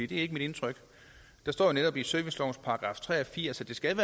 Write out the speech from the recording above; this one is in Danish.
det er ikke mit indtryk der står jo netop i servicelovens § tre og firs at der skal